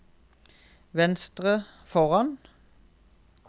venstre foran